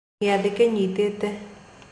Gĩathĩ kĩnyitĩte.